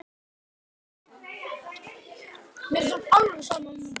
Helstu flokkar skipa eru